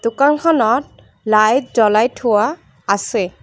দোকানখনত লাইট জ্বলাই থোৱা আছে।